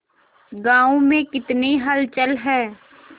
गांव में कितनी हलचल है